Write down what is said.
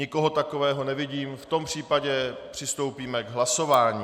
Nikoho takového nevidím, v tom případě přistoupíme k hlasování.